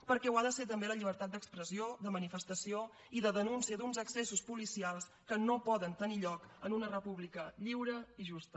perquè ho ha de ser també la llibertat d’expressió de manifestació i de denúncia d’uns excessos policials que no poden tenir lloc en una república lliure i justa